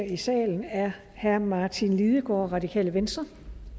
i salen er herre martin lidegaard radikale venstre